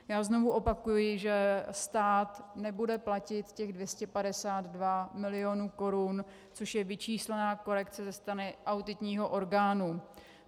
Já znovu opakuji, že stát nebude platit těch 252 milionů korun, což je vyčíslená korekce ze strany auditního orgánu.